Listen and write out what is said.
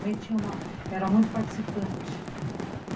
Minha mãe tinha era muito participante.